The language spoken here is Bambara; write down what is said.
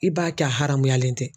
I b'a kɛ a haramuyalen tɛ.